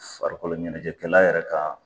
Farikolo ɲɛnajɛkɛla yɛrɛ ka